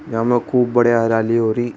या मे खूब बढ़िया हरियाली हो री।